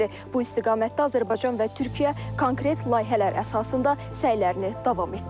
Bu istiqamətdə Azərbaycan və Türkiyə konkret layihələr əsasında səylərini davam etdirir.